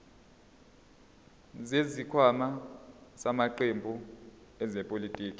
zesikhwama samaqembu ezepolitiki